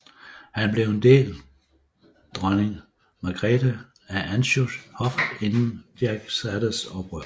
Han blev en del dronning Margrete af Anjous hof inden Jack Cades oprør